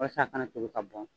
Walasa a kana tobi ka bɔn